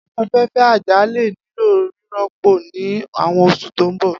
Afẹfẹ aja le nilo rirọpo ni awọn oṣu to n bọ.